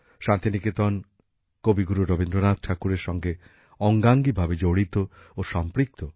শান্তিনিকেতন কবিগুরু রবীন্দ্রনাথ ঠাকুরের সঙ্গে অঙ্গাঙ্গিভাবে জড়িত ও সম্পৃক্ত